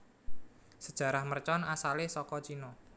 Sejarah mercon asalé saka Cina